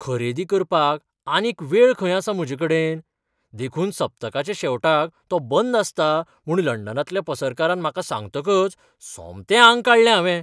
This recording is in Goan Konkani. खरेदी करपाक आनीक वेळ खंय आसा म्हजेकडेन देखून सप्तकाच्या शेवटाक तो बंद आसता म्हूण लंडनांतल्या पसरकारान म्हाका सांगतकच सोमतें आंग काडलें हांवें. !